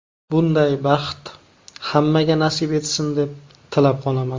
Bunday baxt hammaga nasib etsin deb tilab qolaman.